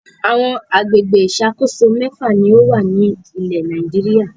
Àwọn àgbègbè ìṣàkóso mẹ́fà ni ó wà ní ilẹ̀ Nàìjíríà.